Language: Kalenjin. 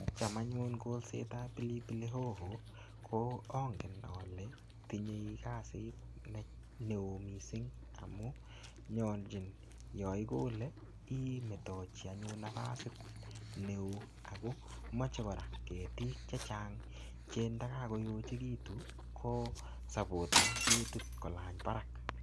Cham anyun kolsetab pilipili hoho , ko angen ale tinye kasit ne-ne oo missing. Amu nyolchin, yaikole, imetochi anyun nafasit ne oo. Akomache kora ketik chechang che ndakakoyochekitu, kosapoten ketit kolany barak.